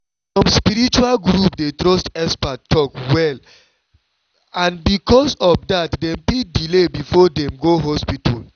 some spiritual group dey trust expert talk well and because of that dem fit delay before dem go hospital.